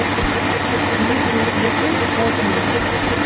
есть ли у тебя фильм отмель